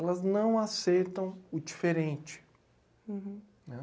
Elas não aceitam o diferente.